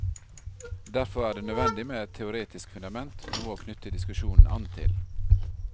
Derfor er det nødvendig med et teoretisk fundament, noe å knytte diskusjonen an til.